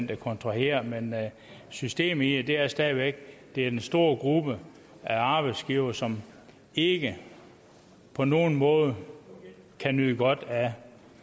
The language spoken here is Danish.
der kontraherer men systemet i det er stadig væk at det er en stor gruppe af arbejdsgivere som ikke på nogen måde kan nyde godt af